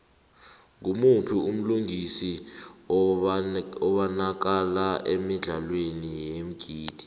ngumuphi umlingisi obanakala emidlalweni yeengidi